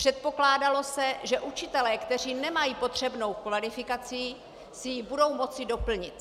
Předpokládalo se, že učitelé, kteří nemají potřebnou kvalifikaci, si ji budou moci doplnit.